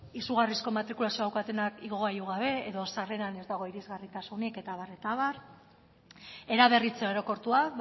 izugarrizko matrikulazioa daukatenak igogailu gabe edo sarreran ez dago irisgarritasunik eta abar eta abar eraberritze orokortua